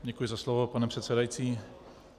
Děkuji za slovo, pane předsedající.